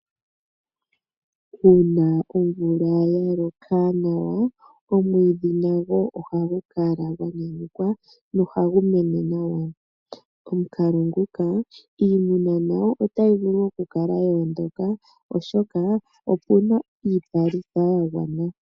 Uuna omvula ya loka nawa omwiidhi nago ohagu kala gwa nyanyukwa nohagu mene nawa. Omukalo nguka iimuna nayo otayi vulu okukala yoondoka oshoka opena iipalutha ya gwana.